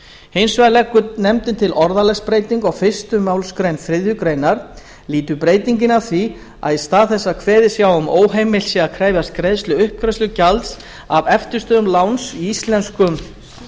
hins vegar leggur nefndin til orðalagsbreytingu á fyrstu málsgrein þriðju grein lýtur breytingin að því að í stað þess að kveðið sé á um að óheimilt sé að krefjast greiðslu uppgreiðslugjalds af eftirstöðvum láns í íslenskum